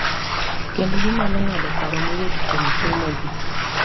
Kendo ginyalo ng’ado paro mayot kuom somogi.